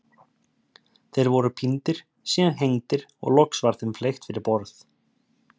Þeir voru píndir, síðan hengdir og loks var þeim fleygt fyrir borð.